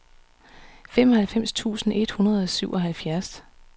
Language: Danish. syvoghalvfems tusind et hundrede og syvoghalvfjerds